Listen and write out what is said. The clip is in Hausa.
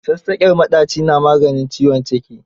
Sassaƙen maɗaci na maganin ciwon ciki.